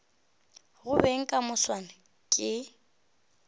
go beng ka moswane ke